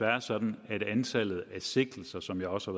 er sådan at antallet af sigtelser som jeg også